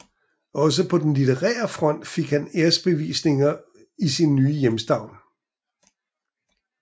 Også på den litterære front fik han æresbevisninger i sin nye hjemstavn